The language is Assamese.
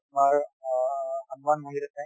তোমাৰ অ হনুমান মন্দিৰ আছে